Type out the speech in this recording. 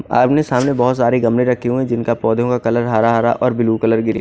आमने सामने बहोत सारे गमले रखे हुए है जिनका पोधे में कलर हरा हरा और ब्लू कलर की--